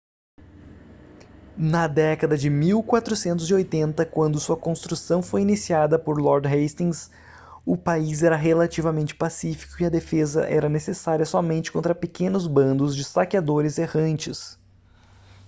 na década de 1480 quando sua construção foi iniciada por lord hastings o país era relativamente pacífico e a defesa era necessária somente contra pequenos bandos de saqueadores errantes